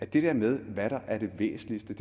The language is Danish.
det der med hvad der er det væsentligste